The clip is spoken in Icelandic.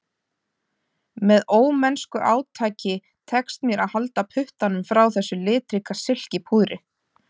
Með ómennsku átaki tekst mér að halda puttunum frá þessu litríka silkipúðri